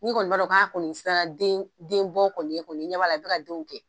N'i kɔni b'a dɔn k'a kɔni sera den den bɔ kɔni ye kɔni, i ɲɛ b'a la, i bi ka denw kɛ